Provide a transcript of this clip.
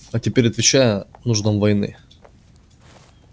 а теперь отвечая нуждам войны